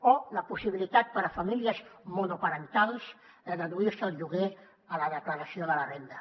o la possibilitat per a famílies monoparentals de deduir se el lloguer a la declaració de la renda